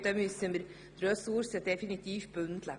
Da müssen wir die Ressourcen definitiv bündeln.